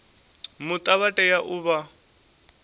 muta vha tea u vha